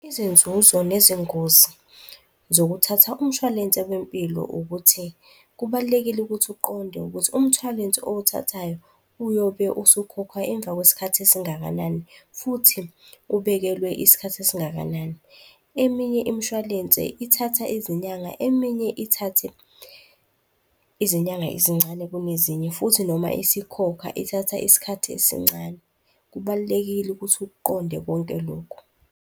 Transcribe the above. Izinzuzo nezingozi zokuthatha umshwalense wempilo ukuthi, kubalulekile ukuthi uqonde ukuthi umshwalense owuthathayo uyobe usukhokhwa emva kwesikhathi esingakanani futhi ubekelwe isikhathi esingakanani. Eminye imshwalense ithatha izinyanga, eminye ithathe izinyanga ezincane kunezinye futhi noma isikhokha ithatha isikhathi esincane. Kubalulekile ukuthi ukuqonde konke lokhu.